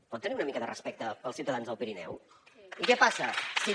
pot tenir una mica de respecte pels ciutadans del pirineu i què passa si